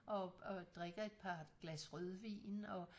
Og og drikker et par glas rødvin og